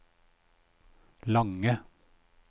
lange